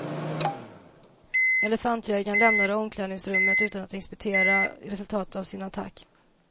Elefantjägarn lämnade omklädningsrummet utan att inspektera resultatet av sin attack.